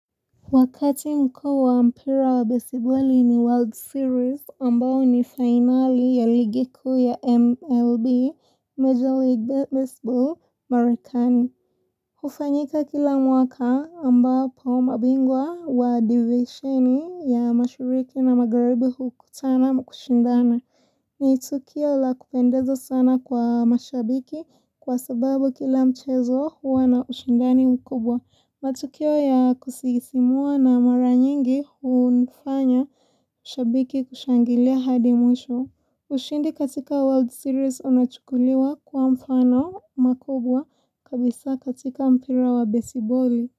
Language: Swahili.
Wakati mko kwa mpira wa baseball ni World Series ambao ni fainali ya ligi kuu ya MLB Major League Baseball Marekani hufanyika kila mwaka ambao hao mabingwa wa divisheni ya mashariki na magharibi hukutana na kushindana ni tukio la kupendezo sana kwa mashabiki kwa sababu kila mchezo huwa na ushindani mkubwa. Matukio ya kusisimua na maranyingi hunifanya shabiki kushangilia hadi mwisho. Ushindi katika World Series unachukuliwa kuwa mfano makubwa kabisa katika mpira wa besiboli.